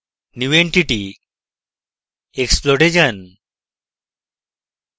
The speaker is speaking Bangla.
new entity>> explode এ যান